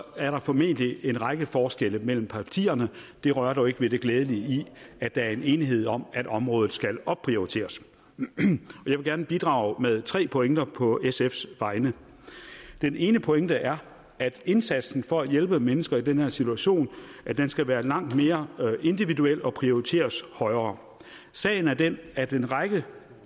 er der formentlig en række forskelle mellem partierne det rører dog ikke ved det glædelige i at der er en enighed om at området skal opprioriteres jeg vil gerne bidrage med tre pointer på sfs vegne den ene pointe er at indsatsen for at hjælpe mennesker i den her situation skal være langt mere individuel og prioriteres højere sagen er den at en række